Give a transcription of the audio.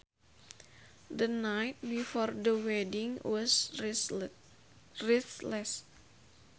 The night before the wedding was restless